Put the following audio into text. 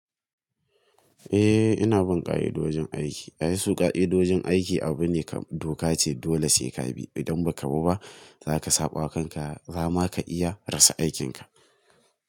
Eh ina bun ƙa'idojin aiki. Yanzu ƙa'idojin aiki abu ne kam doka ce dole sai ka bi. Idan ba ka bi za ka saɓawa kanka, zama ka iya rasa aikinka.